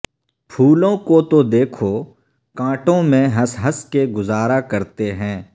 پھولوں کو تو دیکھو کانٹوں میں ہنس ہنس کے گزارا کرتے ہیں